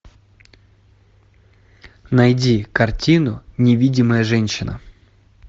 найди картину невидимая женщина